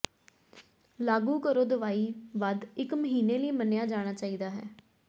ਲਾਗੂ ਕਰੋ ਦਵਾਈ ਵੱਧ ਇੱਕ ਮਹੀਨੇ ਲਈ ਮੰਨਿਆ ਜਾਣਾ ਚਾਹੀਦਾ ਹੈ